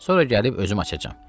Sonra gəlib özüm açacam.